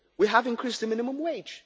we have increased the minimum